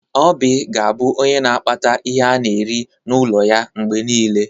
Oby ga-abụ onye n'akpata ihe ana eri n'ụlọ ya mgbe niile.